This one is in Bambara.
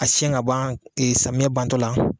A siyɛn ka ban samiyɛ bantɔ la.